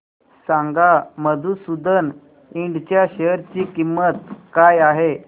सांगा मधुसूदन इंड च्या शेअर ची किंमत काय आहे